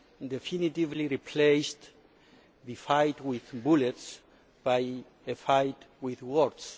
definitively replaced the fight with bullets by a fight with words.